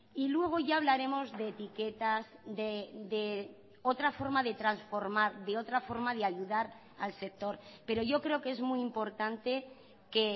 y luego ya hablaremos de etiquetas de otra forma de transformar de otra forma de ayudar al sector pero yo creo que es muy importante que